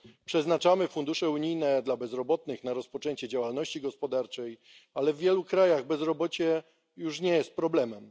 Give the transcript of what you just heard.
Przeznaczamy fundusze unijne na bezrobotnych, na rozpoczęcie działalności gospodarczej, ale w wielu krajach bezrobocie już nie jest problemem.